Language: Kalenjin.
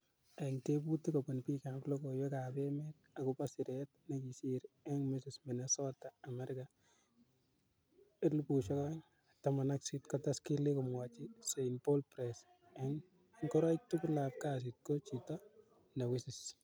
Ing tebutik kopun pik ap logoiwek ap emet akopo siret ne kisir ing Mrs.Minnesota America 2018, kotes Killie komwachin St Paul Press:"ing ngoroik tugul ap kasit, ko chito ne wisis."